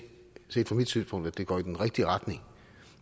set fra mit synspunkt at det går i den rigtige retning